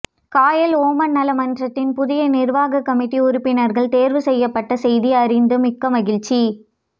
Kayal Oman நல மன்றத்தின் புதிய நிர்வாக கமிட்டி உறுபினர்கள் தேர்வு செய்யப்பட்ட செய்தி அறிந்து மிக்கமகிழ்ச்சி